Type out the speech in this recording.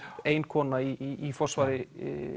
ein kona í forsvari